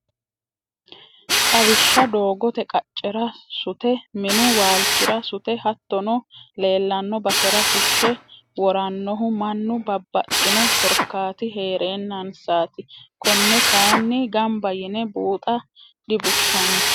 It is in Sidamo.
Xawishsha doogote qaccera sute minu waalchira sute hattono leellano basera fushe woranohu mannu babbaxxino korkaati heerenansati kone kayinni gamba yine buuxa dibushshano.